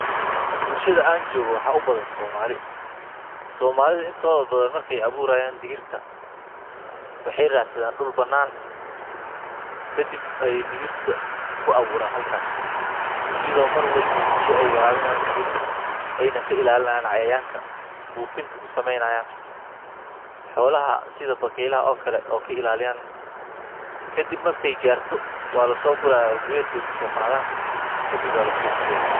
Bulshada aan joogo waxaa ubadhan Somali. Somaalidha intoodha badhan market abuuraya digirta waxey raadsadhan dul banana ah kadib ayey dirta kuaburaan digirta halkaas iyadho mar waliba biya eey waraabinayan digirta eyna kailaalinayan cayayaanka buufinta kusameynayan. Xoolaha sidha bakeyladha oo kale oo kailaliyaan. Kadib market gaarto waa lasooguraya gred bey kusooqadhan kadib baa lasuuqgeyaa.